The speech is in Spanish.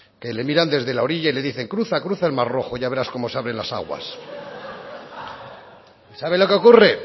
que le miran desde la orilla y le dicen cruza cruza el mar rojo ya verás cómo se abren las aguas y sabe lo que ocurre